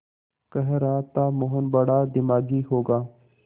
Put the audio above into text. कह रहा था मोहन बड़ा दिमागी होगा